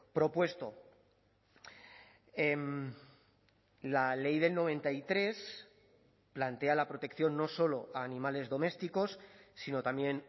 propuesto la ley del noventa y tres plantea la protección no solo a animales domésticos sino también